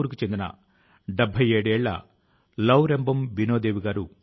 మన సామూహిక శక్తి కరోనా ను ఓడించగలుగుతుంది